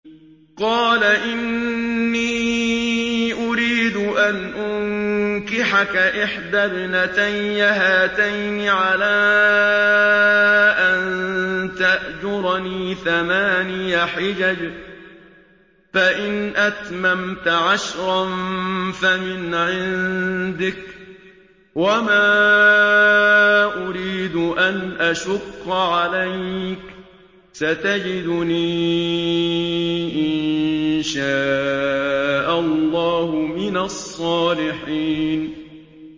قَالَ إِنِّي أُرِيدُ أَنْ أُنكِحَكَ إِحْدَى ابْنَتَيَّ هَاتَيْنِ عَلَىٰ أَن تَأْجُرَنِي ثَمَانِيَ حِجَجٍ ۖ فَإِنْ أَتْمَمْتَ عَشْرًا فَمِنْ عِندِكَ ۖ وَمَا أُرِيدُ أَنْ أَشُقَّ عَلَيْكَ ۚ سَتَجِدُنِي إِن شَاءَ اللَّهُ مِنَ الصَّالِحِينَ